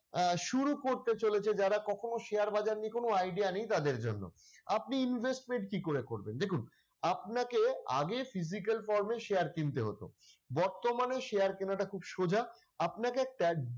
আহ শুরু করতে চলেছে যারা কখনও share বাজার নিয়ে কোন idea নেই তাদের জন্য আপনি investment কি করে করবেন দেখুন আপনাকে আগে physical pause এ share কিনতে হতো বর্তমানে share কেনা টা খুব সোজা আপনাকে একটা,